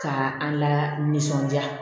Ka an la nisɔndiya